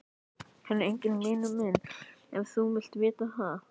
Hann er enginn vinur minn ef þú vilt vita það.